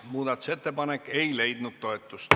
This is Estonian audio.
Muudatusettepanek ei leidnud toetust.